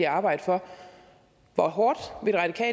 arbejde for hvor hårdt